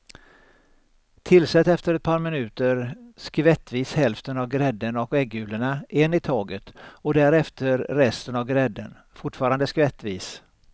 Tillsätt efter ett par minuter skvättvis hälften av grädden och äggulorna en i taget och därefter resten av grädden, fortfarande skvättvis.